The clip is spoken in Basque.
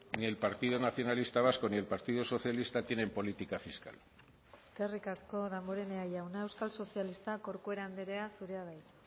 ni el partido nacionalista vasco ni el partido socialista tienen política fiscal eskerrik asko damborenea jauna euskal sozialistak corcuera andrea zurea da hitza